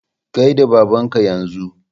Gaida babanka yanzu!